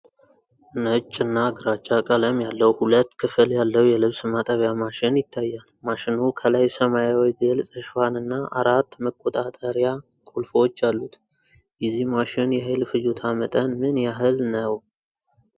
ነጭና ግራጫ ቀለም ያለው ሁለት ክፍል ያለው የልብስ ማጠቢያ ማሽን ይታያል። ማሽኑ ከላይ ሰማያዊ ግልፅ ሽፋንና አራት መቆጣጠሪያ ቁልፎች አሉት። የዚህ ማሽን የኃይል ፍጆታ መጠን ምን ያህል ነው?